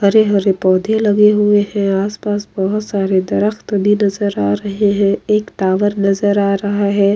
हरे-हरे पौधे लगे हुए है आस-पास बहुत सारे दरख़्त भी नजर आ रहे है एक टॉवर नजर आ रहा है।